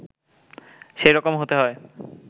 সেই রকম হতে হয়